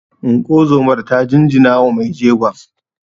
Unguwar zomar ta jinjinawa mai jegon